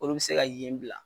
Olu bɛ se ka yen bila.